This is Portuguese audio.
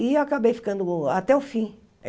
E acabei ficando até o fim.